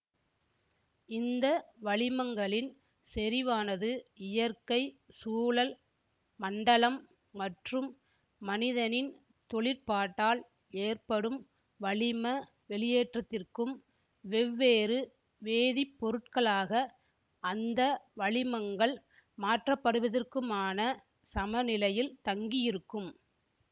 இந்த வளிமங்களின் செறிவானது இயற்கை சூழல் மண்டலம் மற்றும் மனிதனின் தொழிற்பாட்டால் ஏற்படும் வளிம வெளியேற்றத்திற்கும் வெவ்வேறு வேதிப்பொருட்களாக அந்த வளிமங்கள் மாற்றப்படுவதிற்குமான சமநிலையில் தங்கியிருக்கும்